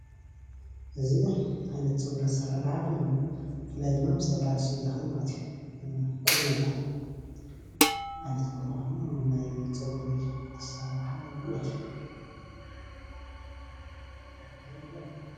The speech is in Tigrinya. እዚ ዓይነት ፀጉሪ ኣሰራርሓ ኮይኑ ብፍላይ ድማ ምስ ደቂ ኣነስትዮ ዝከድ ማለት እዩ ቁኖ ይባሃል። ዓይነት ቁኖ ኮይኑ ናይ ፀጉሪ ኣሰራርሓ እዩ ማለት እዩ፡፡